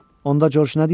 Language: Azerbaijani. Onda Corc nə deyər?